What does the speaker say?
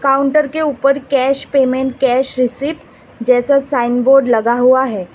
Counter के ऊपर cash payment cash received जैसा साइन बोर्ड लगा हुआ है।